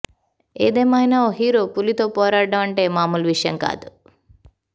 ఏదేమైనా ఓ హీరో పులితో పోరాడటం అంటే మామూలు విషయం కాదు